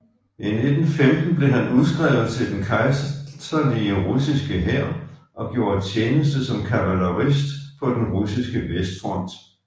I 1915 blev han udskrevet til den kejserlige russiske hær og gjorde tjeneste som kavalerist på den russiske vestfront